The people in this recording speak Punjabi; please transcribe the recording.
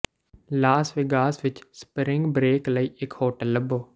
ਲਾਸ ਵੇਗਾਸ ਵਿੱਚ ਸਪਰਿੰਗ ਬਰੇਕ ਲਈ ਇੱਕ ਹੋਟਲ ਲੱਭੋ